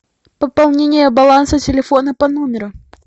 пополнение баланса телефона по номеру